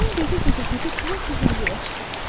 Mən gəzə-gəzə gedib lap ürəyimə çıxıram.